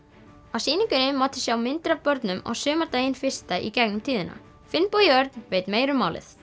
á sýningunni mátti sjá myndir af börnum á sumardaginn fyrsta í gegnum tíðina Finnbogi Örn veit meira um málið